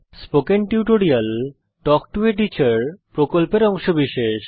spoken tutorial talk to a teacher প্রকল্পের অংশবিশেষ